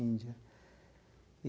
Índia.